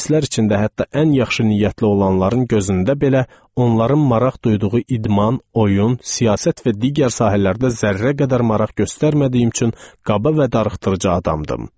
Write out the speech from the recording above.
İngilislər içində hətta ən yaxşı niyyətli olanların gözündə belə onların maraq duyduğu idman, oyun, siyasət və digər sahələrdə zərrə qədər maraq göstərmədiyim üçün qaba və darıxdırıcı adamdım.